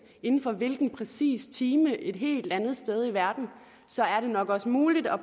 inden for hvilken præcis time et helt andet sted i verden og så er det nok også muligt at